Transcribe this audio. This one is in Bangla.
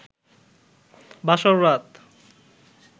বাসর রাত